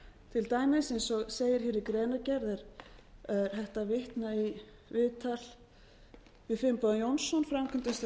til dæmis eins og segir hér í greinargerð er hægt að vitna í viðtal við finnboga jónsson framkvæmdastjóra